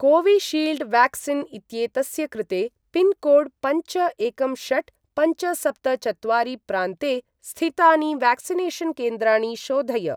Covishield vaccine इत्येतस्य कृते pin code पञ्च एकं षट् पञ्च सप्त चत्वारि प्रान्ते स्थितानि व्याक्सिनेषन् केन्द्राणि शोधय।